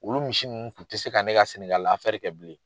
Olu misi ninnu tun tɛ se ka ne ka Sɛnɛgali kɛ bilen.